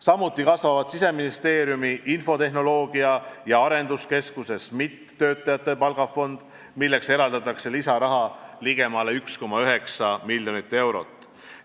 Samuti kasvab Siseministeeriumi infotehnoloogia- ja arenduskeskuse töötajate palgafond, milleks eraldatakse lisaraha ligemale 1,9 miljonit eurot.